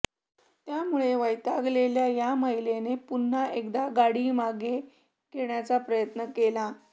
त्यामुळे वैतागलेल्या त्या महिलेने पुन्हा एकदा गाडी मागे घेण्याचा प्रयत्न केला